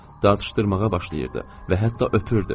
Dalaşdırmağa başlayırdı və hətta öpürdü.